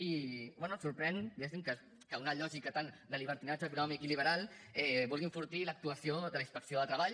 i bé em sorprèn diguéssim que una lògica tan de llibertinatge econòmic i liberal vulgui enfortir l’actuació de la inspecció de treball